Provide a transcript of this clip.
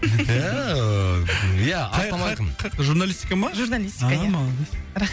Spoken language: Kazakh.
қай қай журналистика ма журналистика ия а молодец